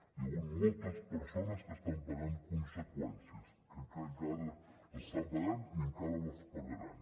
hi ha hagut moltes persones que estan pagant conseqüències que encara les estan pagant i encara les pagaran